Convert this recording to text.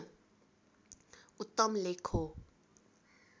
उत्तम लेख हो